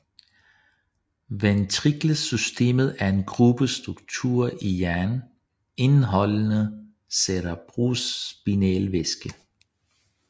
Ventrikelsystemet er en gruppe strukturer i hjernen indeholdende cerebrospinalvæske